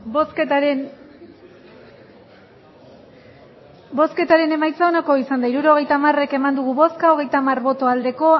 baietz hirurogeita hamar eman dugu bozka hogeita hamar bai